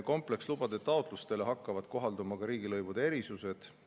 Komplekslubade taotlustele hakkavad kohalduma ka riigilõivude erisused.